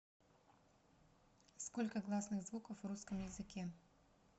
сколько гласных звуков в русском языке